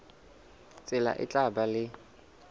tsela e tla ba le